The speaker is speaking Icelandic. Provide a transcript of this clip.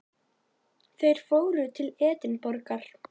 Þeir fóru til Edinborgar.